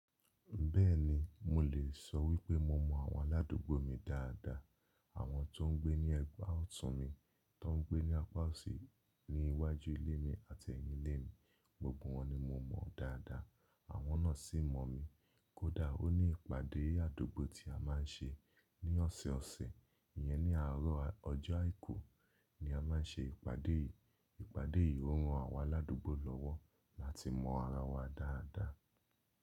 Bẹ́ẹ̀ni mo lè sọ wípé mo mọ àwọn aládùúgbò mi dáadáa. Àwọn tó ń gbé ní ẹ̀gbá ọ̀tún mi, tó ń gbé ní apá òsì ní iwájú ilé mi àti ẹ̀yín ilé mi, gbogbo wọ́n ni mo mọ dáadáa. Àwọn náà sì mọ̀ mi. Kódà ó ní ìpàdé àdúgbò tí a máa ń ṣe ní ọ̀sọ̀ọ̀sẹ̀. Iyẹn ní àárọ̀ ọjọ́ àìkú ni a máa ń ṣe ìpàdé yìí. Ìpàdé yìí ó ran àwọn aládùúgbò lọ́wọ́ láti mọ ara wa dáadáa.